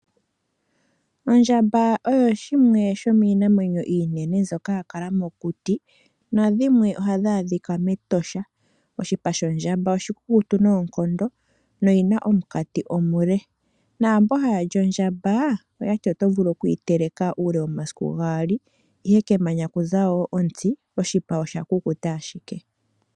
Ondjamba oyo shimwe shomiinamwenyo iinene mbyoka ya kala mokuti nadhimwe ohadhi adhika mEtosha. Oshipa shondjamba oshikukutu noonkondo noyi na omunkati omule. Mboka haya li ondjamba oya ti onyama yawo oto vulu okuyi teleka uule womasiku gaali, ihe kemanya kuza wo ontsi oshipa osha kukuta ashike.